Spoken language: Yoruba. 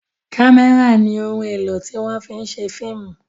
kamẹra ní òún èló tí wón fí ń ṣe fíìmù